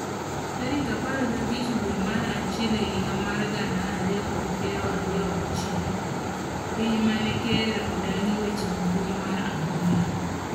tarik apar gabich dwe mar achiel ehiga mar ganaq ariyo kod piero ariyo gachiel, piny mane ker odagi weche mbui mar anyuola